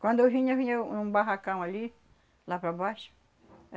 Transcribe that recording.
Quando eu vinha, vinha um barracão ali, lá para baixo.